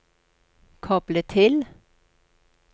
koble til